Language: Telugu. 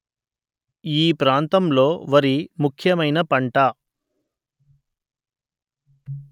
ఈ ప్రాంతంలో వరి ముఖ్యమైన పంట